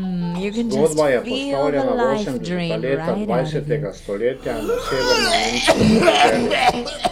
Zgodba je postavljena v osemdeseta leta dvajsetega stoletja na severnonemško podeželje.